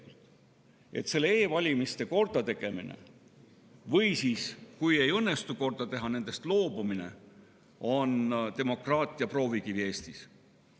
E‑valimiste kordategemine, või kui neid ei õnnestu korda teha, siis nendest loobumine, on demokraatia proovikivi Eestis.